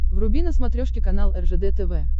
вруби на смотрешке канал ржд тв